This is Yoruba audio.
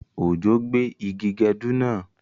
Òjò gbé igi gẹdú náà